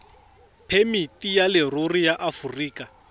phemiti ya leruri ya aforika